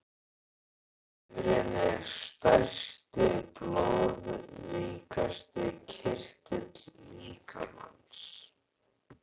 Lifrin er stærsti og blóðríkasti kirtill líkamans.